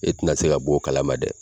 E tɛna se ka bɔ o kala ma dɛ!